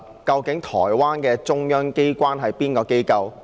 究竟台灣的中央機關是甚麼機構？